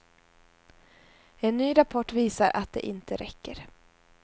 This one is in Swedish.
En ny rapport visar att det inte räcker.